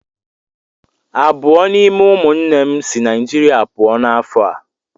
Abụọ n'ime ụmụnne m si Naijirịa pụọ ​​n'afọ a.